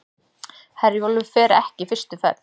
Herjólfur fer ekki fyrstu ferð